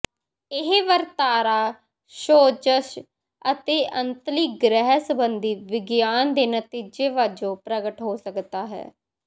ਇਹ ਵਰਤਾਰਾ ਸੋਜ਼ਸ਼ ਅਤੇ ਅੰਤਲੀ ਗ੍ਰਹਿ ਸੰਬੰਧੀ ਵਿਗਿਆਨ ਦੇ ਨਤੀਜੇ ਵਜੋਂ ਪ੍ਰਗਟ ਹੋ ਸਕਦਾ ਹੈ